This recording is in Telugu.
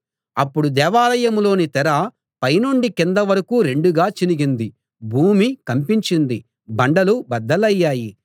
అప్పుడు దేవాలయంలోని తెర పైనుండి కింది వరకూ రెండుగా చినిగింది భూమి కంపించింది బండలు బద్దలయ్యాయి